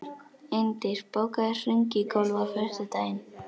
Eindís, bókaðu hring í golf á föstudaginn.